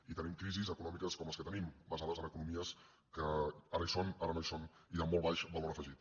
i tenim crisis econòmiques com les que tenim basades en economies que ara hi són ara no hi són i de molt baix valor afegit